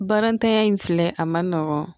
Barantanya in filɛ a ma nɔgɔn